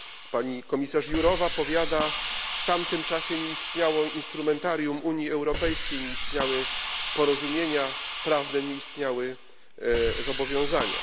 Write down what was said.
Pani komisarz Jurova powiada, że w tamtym czasie nie istniało instrumentarium Unii Europejskiej, nie istniały porozumienia prawne, nie istniały zobowiązania.